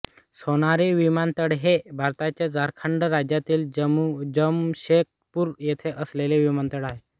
सोनारी विमानतळहे भारताच्या झारखंड राज्यातील जमशेदपूर येथे असलेले विमानतळ आहे